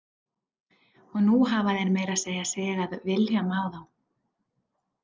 Og nú hafa þeir meira að segja sigað Vilhjálmi á þá.